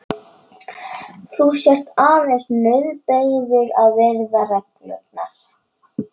Þú sért aðeins nauðbeygður að virða reglurnar.